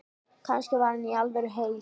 Kannski var hann í alvörunni heil